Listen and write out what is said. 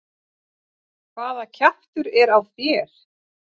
HVAÐA KJAFTUR ER Á ÞÉR.